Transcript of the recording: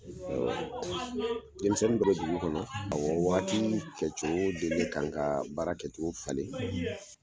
Denmisɛnnu dɔ bɛ dugu kɔnɔ, awɔ wagati kɛ cogo de bɛ ka kan ka baara kɛ cogo falen;